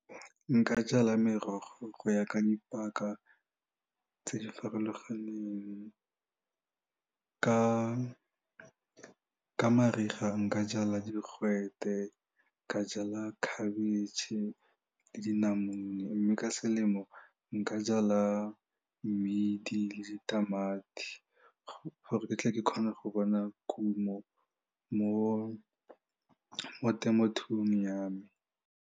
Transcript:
Nka jala merogo go ya ka dipaka tse di farologaneng ka mariga nka jala digwete, ka jala khabetšhe le dinamune mme ka selemo nka jala mmidi le ditamati gore ke tle ke kgone go bona kuno mo temothung ya me.